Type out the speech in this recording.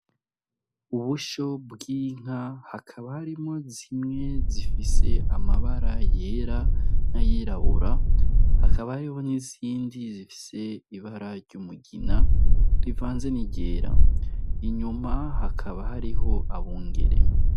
Ubusho bw'inka hakaba harimwo zimwe zifise amabara yera n'ayirabura, hakaba hariho nizindi zifise ibara ry'umugina rivanze n'iryera, inyuma hakaba hariho abungere.